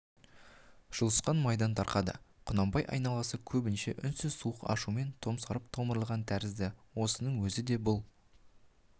жұлысқан майдан тарқады құнанбай айналасы көбінше үнсіз суық ашумен томсарып томырылған тәрізді осының өзі де бұл